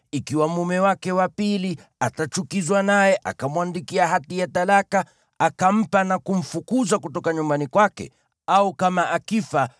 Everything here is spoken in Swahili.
ikiwa mume wake wa pili atachukizwa naye akamwandikia hati ya talaka, akampa na kumfukuza kutoka nyumbani kwake, au kama akifa,